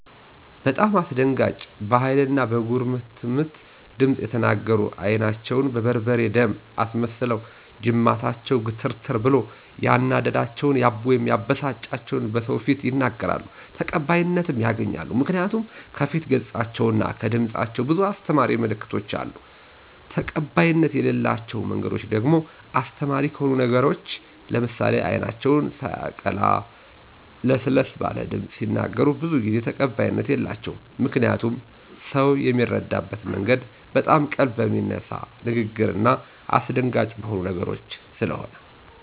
በጣም አስደንጋጭ በሀይል እና በጉርምትምት ድምፅ እየተናገሩ አይናቸውን በርበሬ/ደም አስመስለውና ጅማታቸው ግትርትር ብሎ ያናደዳቸውን/የበሳጫቸውን በሰዎች ፊት ይናገራሉ። ተቀባይነትም ያገኛሉ ምክንያቱ ከፊት ገፃቸው እና ከድምፃቸው ብዙ አሰተማሪ ምልክቶች አሉ። ተቀባይነት የለላቸው መንገዶች ደግሞ አስተማሪ ከሆኑ ነገሮች ለምሳሌ አይናቸው ሳየቀላ ለሰለስ ባለ ድምፅ ቢናገሩ ብዙ ጊዜ ተቀባይነት የላቸውም። ምክንያቱም ሰው ሚረዳበት መንገድ በጣም ቀልብ በሚነሳ ንግግርና አሰደንጋጭ በሆኑ ነገሮች ሰለሆነ።